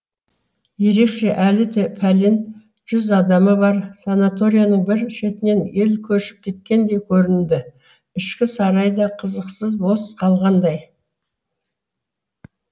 еркешке әлі де пәлен жүз адамы бар санаторияның бір шетінен ел көшіп кеткендей көрінді ішкі сарайы да қызықсыз бос қалғандай